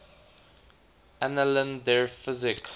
annalen der physik